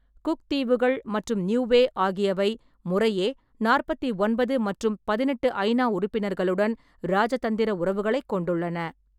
Cook தீவுகள் மற்றும் Niue ஆகியவை முறையே நாற்பத்தி ஒன்பது மற்றும் பதினெட்டு ஐ.நா. உறுப்பினர்களுடன் இராஜதந்திர உறவுகளைக் கொண்டுள்ளன.